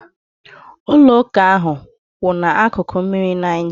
Ụlọ ụka ahụ kwu ná akụkụ mmiri Niger